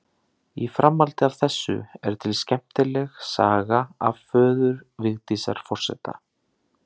Í framhaldi af þessu er til skemmtileg saga af föður Vigdísar forseta.